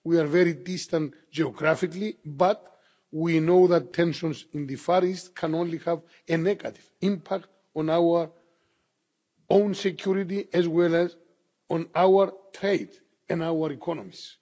We are very distant geographically, but we know that tensions in the Far East can only have a negative impact on our own security, as well as on our trade and our economies.